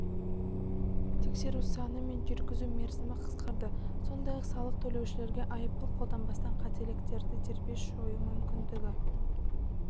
тексеру саны мен жүргізу мерзімі қысқарды сондай-ақ салық төлеушілерге айыппұл қолданбастан қателіктерді дербес жою мүмкіндігі